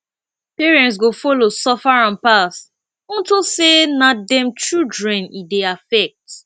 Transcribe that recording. parent go follow suffer am pass unto say na dem children e dey affect